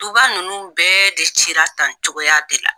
Duba nunnu bɛɛ de cira tan cogoya de la.